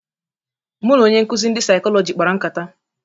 Mụ na onye nkụzị ndị Saịkọlọjị kpara nkata.